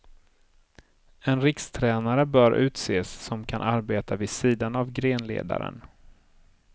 En rikstränare bör utses som kan arbeta vid sidan av grenledaren.